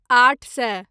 आठ सए